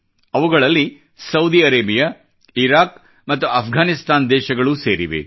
ಅವುಗಳಲ್ಲಿ Saudi Arabia Iraq ಮತ್ತು ಆಫ್ಘಾನಿಸ್ತಾನ ದೇಶಗಳೂ ಸೇರಿವೆ